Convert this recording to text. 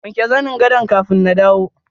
wanke zanin gado kafin na dawo.